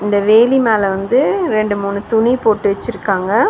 இந்த வேலி மேல வந்து ரெண்டு மூணு துணி போட்டு வெச்சிருக்காங்க.